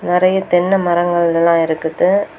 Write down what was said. நறைய தென்னை மரங்கள் எல்லா இருக்குது.